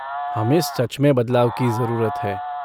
हमें सच में बदलाव की जरूरत है।